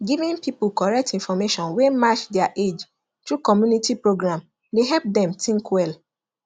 giving people correct information wey match their age through community program dey help dem think well